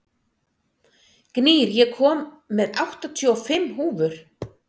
Gnýr, ég kom með áttatíu og fimm húfur!